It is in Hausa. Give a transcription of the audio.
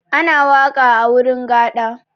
Ana waƙa a wurin gaɗa.